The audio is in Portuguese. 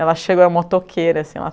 Ela chegou era motoqueira assim.